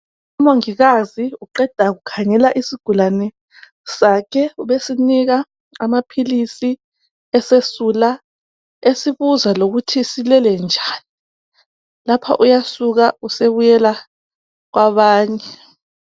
Umongikazi uqeda kukhangela isigulane sakhe , ubesinika amaphilisi , esesula esibuza lokuthi silelenjani lapha uyasuka usebuyela kwabanye